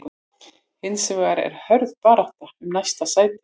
Hins vegar er hörð barátta um næstu sæti.